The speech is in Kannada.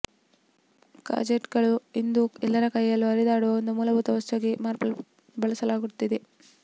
ಗ್ಯಾಜೆಟ್ಸ್ಗಳು ಇಂದು ಎಲ್ಲರ ಕೈಯಲ್ಲೂ ಹರಿದಾಡುವ ಒಂದು ಮೂಲಭೂತ ವಸ್ತುವಾಗಿ ಬಳಸಲ್ಪಡುತ್ತಿವೆ